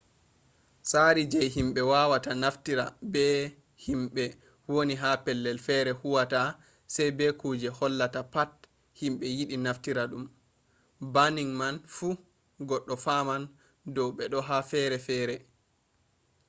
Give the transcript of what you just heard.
tsari je himɓe wawata naftira be himɓe woni ha pellel fere huwata sai be kuje hollata pat himɓe yiɗi naftira ɗum. banning man fu goɗɗo faman dow beɗo ha fere fere